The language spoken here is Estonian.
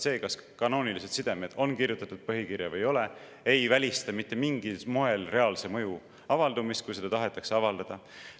See, kas kanoonilised sidemed on kirjutatud põhikirja või ei ole, ei välista mitte mingil moel reaalse mõju avaldumist, kui seda tahetakse avaldada.